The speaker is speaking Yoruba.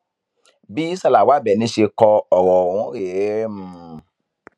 bí sálàwá àbẹni ṣe kọ ọrọ ọhún rèéhmmm